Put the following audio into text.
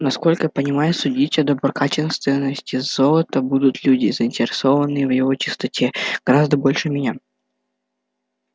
насколько я понимаю судить о доброкачественности золота будут люди заинтересованные в его чистоте гораздо больше меня